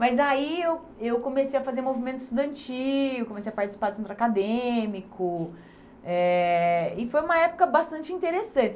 Mas aí eu eu comecei a fazer movimento estudantil, comecei a participar do centro acadêmico, eh e foi uma época bastante interessante.